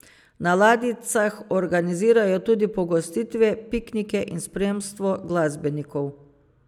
Na ladjicah organizirajo tudi pogostitve, piknike in spremstvo glasbenikov.